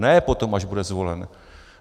Ne potom, až bude zvolen.